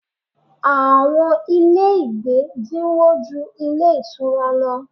Àwọn ilé ìgbé dínwó ju ilé ìtura lọ.